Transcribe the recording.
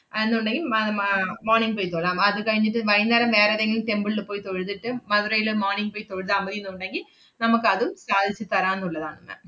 അഹ് എന്നുണ്ടെങ്കി മ~ മ~ ആഹ് morning പോയി തൊഴാം. അത് കഴിഞ്ഞിട്ട് വൈകുന്നേരം വേറേതെങ്കിലും temple ല് പോയി തൊഴുതിട്ട് മധുരേല് morning പോയി തൊഴുതാ മതിന്ന് ഉണ്ടെങ്കി, നമ്മക്കതും സാധിച്ച് തരാന്നുള്ളതാണ് ma'am